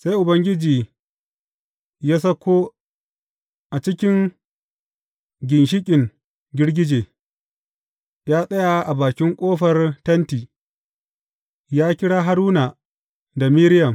Sai Ubangiji ya sauko a cikin ginshiƙin girgije; ya tsaya a bakin ƙofar Tenti, ya kira Haruna da Miriyam.